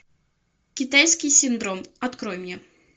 китайский синдром открой мне